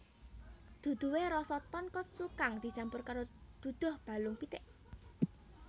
Duduhe rasa tonkotsu kang dicampur karo duduh balung pitik